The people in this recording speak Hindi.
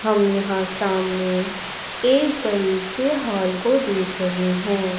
हम यहां सामने एक बड़े से हॉल को देख रहे हैं।